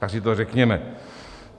Tak si to řekněme.